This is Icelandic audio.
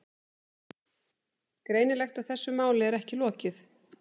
Greinilegt að þessu máli er ekki lokið.